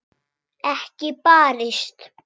Ekki barist.